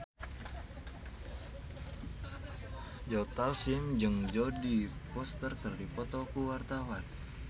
Joe Taslim jeung Jodie Foster keur dipoto ku wartawan